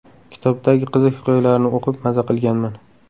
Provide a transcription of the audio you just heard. Kitobdagi qiziq hikoyalarni o‘qib maza qilganman.